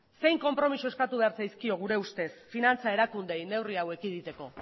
zein konpromezu eskatu behar zaizkio gure ustez finantza erakundeei neurri hau ekiditeko